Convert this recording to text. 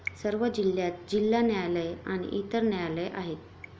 सर्व जिल्ह्यांत जिल्हा न्यायालये आणि इतर न्यायालये आहेत.